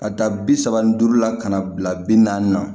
Ka da bi saba ni duuru la ka na bila bi naani na